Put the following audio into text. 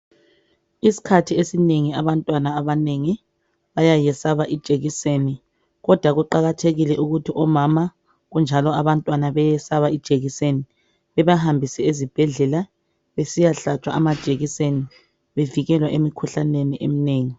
isikhathi esinengi abantwana abanengi bayayesaba amajekiseni kodwa kuqhakathekile ukuthi omama kunjalo abantwana beyiyesaba ijekiseni bebahambise ezibhedleleni besiyahlaba amajekiseni bevekela emikhuhlaneni eminengi.